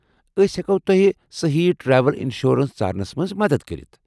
أسۍ ہٮ۪کو تۄہہِ صحیحی ٹریول انشورینس ژارنس منٛز مدتھ کٔرِتھ ۔